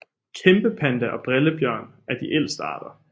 Kæmpepanda og brillebjørn er de ældste arter